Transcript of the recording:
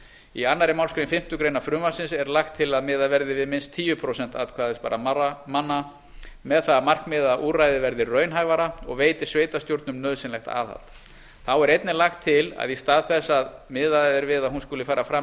í annarri málsgrein fimmtu grein frumvarpsins er lagt til að miðað verði við minnst tíu prósent atkvæðisbærra manna með það að markmiði að úrræðið verði raunhæfara og veiti sveitarstjórnum nauðsynlegt aðhald þá er einnig lagt til að í stað þess að miðað er við að hún skuli fara fram